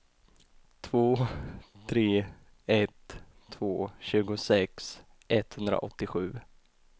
två tre ett två tjugosex etthundraåttiosju